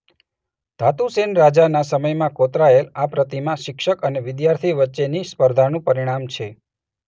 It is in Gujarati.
ધાતુસેન રાજાના સમયમાં કોતરાયેલ આ પ્રતિમા શિક્ષક અને વિદ્યાર્થી વચ્ચેની સ્પર્ધાનું પરિણામ છે.